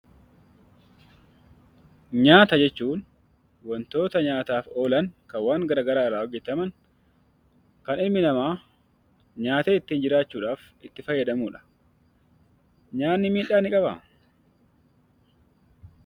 Nyaata jechuun waantota nyaataaf oolan, kan waan gara garaa irraa hojjetaman, kan ilmi namaa nyaatee ittiin jiraachuudhaaf itti fayyadamudha. Nyaatni miidhaa ni qabaa?